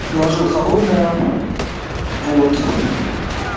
приложил холодная вот